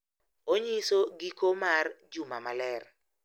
Onyiso giko mar Juma Maler,